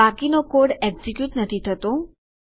બાકીનો code execute નથી થતો